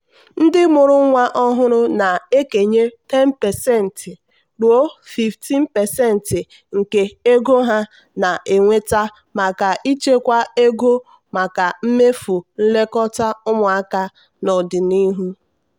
ndị mụrụ nwa ọhụrụ na-ekenye 10% ruo 15% nke ego ha na-enweta maka ịchekwa ego maka mmefu nlekọta ụmụaka n'ọdịnihu.